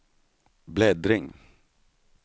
bläddring